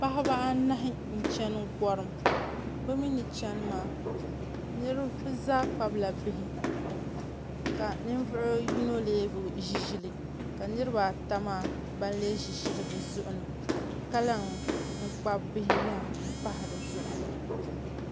Paɣaba anahi n chɛni gɔrim bi mii ni chɛni maa bi zaa kpabila bihi ka ninvuɣu yino lee bi ʒi ʒili ka niraba ata maa ban lee ʒi ʒili bi zuɣuni ka lahi kpabi bihi yaha n pahi dizuɣu